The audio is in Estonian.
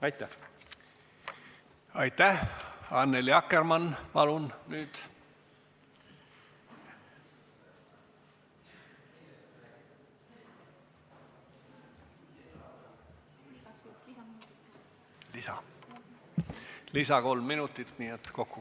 Aitäh!